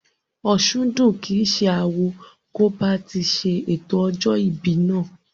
Òsúndùn kìí ṣe awo kò bá ti ṣe ètò ọjọ́ ìbí náà